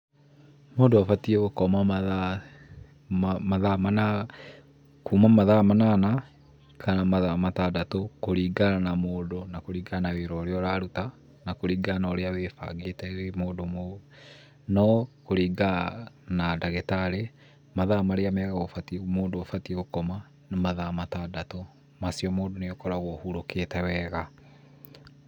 Mũndũ abatiĩ gũkoma kuma mathaa manana kana mathaa matandatũ kũringana na mũndũ kana na wĩra ũrĩa ũraruta na kũringana na ũrĩa wĩbangĩte wĩ mũndũ. No kũringana na ndagĩtarĩ mathaa marĩa mega mũndũ abatiĩ gũkoma nĩ mathaa matandatũ. Macio mũndũ nĩakoragwo ahurũkĩte wega.